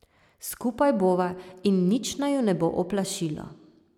Skupaj bova in nič naju ne bo oplašilo.